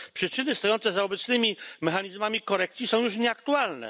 Przyczyny stojące za obecnymi mechanizmami korekcji są już nieaktualne.